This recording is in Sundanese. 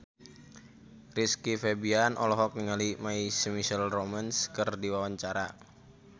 Rizky Febian olohok ningali My Chemical Romance keur diwawancara